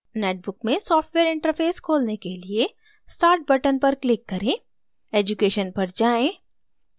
netbook में software interface खोलने के लिएstart button पर click करें>> education पर जाएँ>>